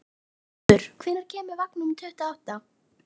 Félags járniðnaðarmanna og Þorvaldur Þórarinsson hæstaréttarlögmaður.